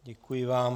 Děkuji vám.